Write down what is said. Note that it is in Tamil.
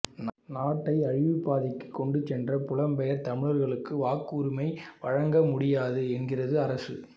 நாட்டை அழிவுப் பாதைக்குக் கொண்டு சென்ற புலம்பெயர் தமிழர்களுக்கு வாக்குரிமை வழங்க முடியாது என்கிறது அரசு